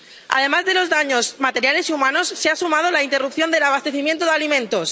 A los daños materiales y humanos se ha sumado la interrupción del abastecimiento de alimentos.